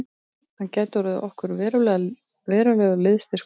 Hann gæti orðið okkur verulegur liðsstyrkur